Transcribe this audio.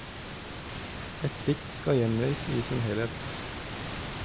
Ett dikt skal gjengis i sin helhet.